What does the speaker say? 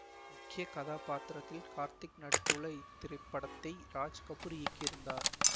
முக்கிய கதாப்பாத்திரத்தில் கார்த்திக் நடித்துள்ள இத்திரைப்படத்தை ராஜ் கபூர் இயக்கியிருந்தார்